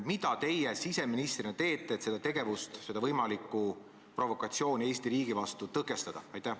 Mida teie siseministrina teete, et seda tegevust, seda võimalikku provokatsiooni Eesti riigi vastu tõkestada?